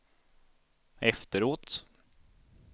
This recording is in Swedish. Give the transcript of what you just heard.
efteråt